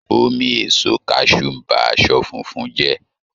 Omi èso kaṣú ń bá aṣọ funfun jẹ́